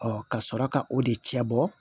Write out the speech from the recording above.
ka sɔrɔ ka o de cɛ bɔ